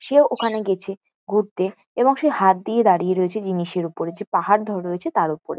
সে ওখানে গেছে ঘুরতে এবং সে হাত দিয়ে দাঁড়িয়ে রয়েছে জিনিসের উপরে যে পাহাড় ধরে রয়েছে তার উপরে।